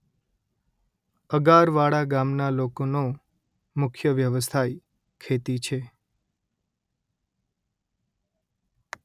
અગારવાડા ગામના લોકોનો મુખ્ય વ્યવસાય ખેતી છે